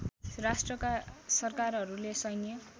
राष्ट्रका सरकारहरूले सैन्य